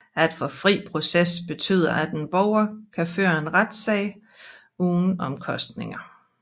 At få fri proces betyder at en borger kan føre en retssag uden omkostninger